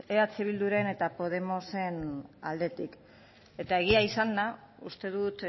eh bilduren eta podemosen aldetik eta egia izanda uste dut